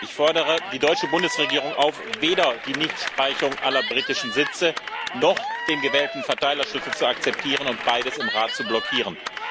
Ich fordere die deutsche Bundesregierung auf, weder die Nichtstreichung aller britischen Sitze noch den gewählten Verteilerschlüssel zu akzeptieren und beides im Rat zu blockieren.